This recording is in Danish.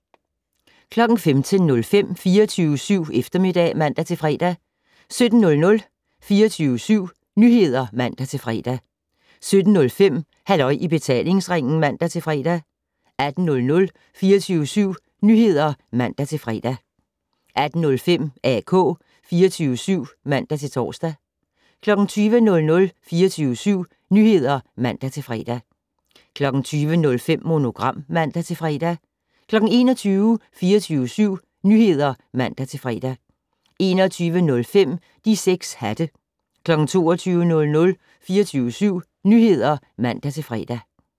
15:05: 24syv Eftermiddag (man-fre) 17:00: 24syv Nyheder (man-fre) 17:05: Halløj i betalingsringen (man-fre) 18:00: 24syv Nyheder (man-fre) 18:05: AK 24syv (man-tor) 20:00: 24syv Nyheder (man-fre) 20:05: Monogram (man-fre) 21:00: 24syv Nyheder (man-fre) 21:05: De 6 hatte 22:00: 24syv Nyheder (man-fre)